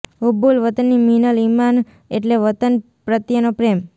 હુબ્બુલ વતની મિનલ ઇમાન એટલે વતન પ્રત્યેનો પ્રેમ